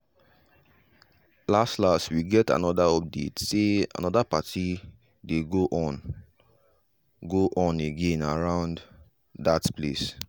las las we get another update say another party dey go on go on again around that place.